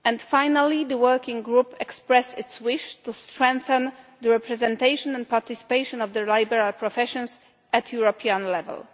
Finally, the working group expressed its wish to strengthen the representation and participation of the liberal professions at European level.